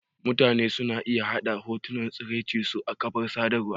Mutane suna iya yaɗa hotunan tsiraicin su a kafar sadarwa.